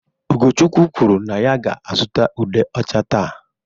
Ugochukwu kwuru na ya ga-azụta ude ocha taa.